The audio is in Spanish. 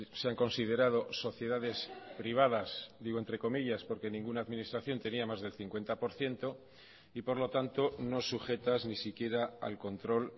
se han considerado sociedades privadas digo entre comillas porque ninguna administración tenía más del cincuenta por ciento y por lo tanto no sujetas ni siquiera al control